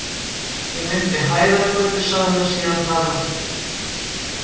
Ég meinti Hæðargötu, sagði hann síðan hraðmæltur.